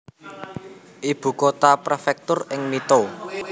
Ibu kota prefektur ing Mito